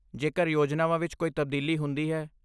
ਜੇਕਰ ਯੋਜਨਾਵਾਂ ਵਿੱਚ ਕੋਈ ਤਬਦੀਲੀ ਹੁੰਦੀ ਹੈ?